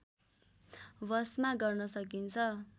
वशमा गर्न सकिन्छ